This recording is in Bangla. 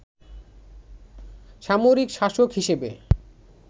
সামরিক শাসক হিসেবে